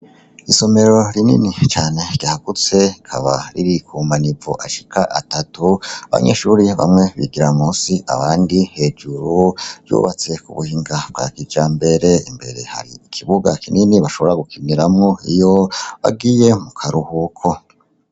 Isomero rinini cane ryagutse, rikaba riri kumanivo ashika atatu abanyeshuri bamwe bigira munsi abandi hejuru ,ryubatse k'ubuhinga bwakijambere imbere hari ikibuga kinini bashobora gukiniramwo iyo bagiye mukaruhuko.